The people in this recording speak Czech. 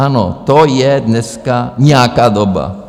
Ano, to je dneska nějaká doba.